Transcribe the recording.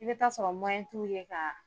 I bɛ taa sɔrɔ t'u ye ka